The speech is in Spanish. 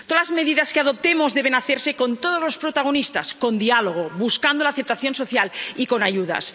Todas las medidas que adoptemos deben hacerse con todos los protagonistas, con diálogo, buscando la aceptación social y con ayudas.